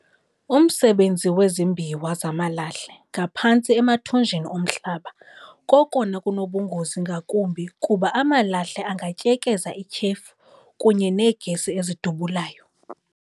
umsebenzi wezimbiwa zamalahle ngaphantsi emathunjini omhlaba kokona kunobungozi ngakumbi kuba amalahle angatyekeza ityhefu kunye neegesi ezidubulayo.